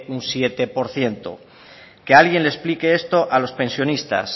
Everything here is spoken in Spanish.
un siete por ciento que alguien le explique esto a los pensionistas